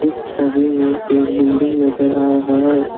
इस छवि में एक बिल्डिंग नजर आ रहा है।